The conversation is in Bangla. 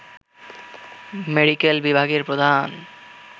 মেডিক্যাল বিভাগের প্রধান